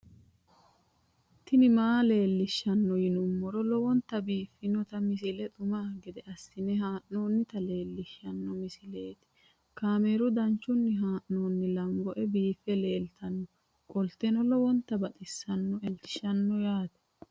tini maa leelishshanno yaannohura lowonta biiffanota misile xuma gede assine haa'noonnita leellishshanno misileeti kaameru danchunni haa'noonni lamboe biiffe leeeltannoqolten lowonta baxissannoe halchishshanno yaate